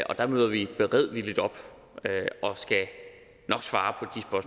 der møder vi beredvilligt op og skal nok svare